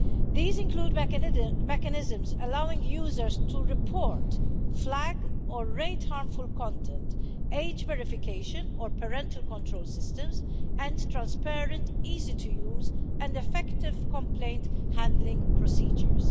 These include mechanisms allowing users to report, flag or rate harmful content, age verification or parental control systems and transparent easy to use and effective complaint handling procedures.